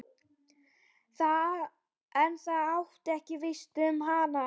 En það átti víst ekki við um hana.